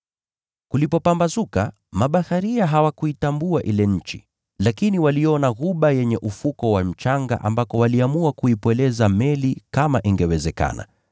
Kulipopambazuka, mabaharia hawakuitambua ile nchi, lakini waliona ghuba yenye ufuko wa mchanga, ambako waliamua kuipweleza meli kama ingewezekana.